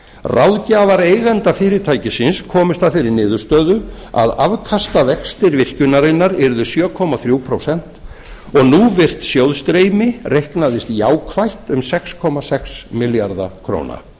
ráðgjafar eigenda fyrirtækisins komust að þeirri niðurstöðu að afkastavextir virkjunarinnar yrðu sjö komma þrjú prósent og núvirt sjóðsstreymi reiknaðist jákvætt um sex komma sex milljarða króna